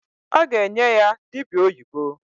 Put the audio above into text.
Ọ ga-enye ya dịbịa oyibo.